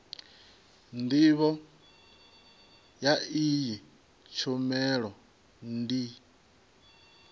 ndivho ya iyi tshumelo ndi